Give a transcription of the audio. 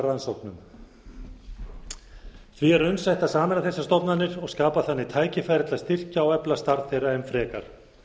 rannsóknum því er raunsætt að sameina þessar stofnanir og skapa þannig tækifæri til þess að styrkja og efla starf þeirra enn frekar